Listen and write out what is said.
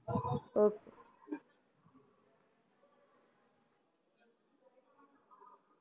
Okay